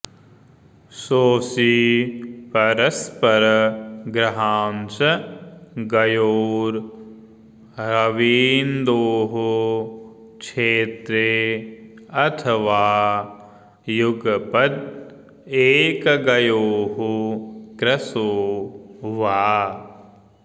शोषी परस्पर गृहांश गयोर्रवीन्द्वोः क्षेत्रे अथ वा युगपद् एकगयोः कृशो वा